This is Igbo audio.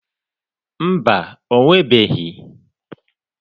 Mba, o nwebeghị.